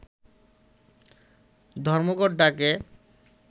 ধর্মঘট ডাকে